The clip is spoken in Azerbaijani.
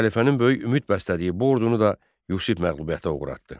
Xəlifənin böyük ümid bəslədiyi bu ordunu da Yusif məğlubiyyətə uğratdı.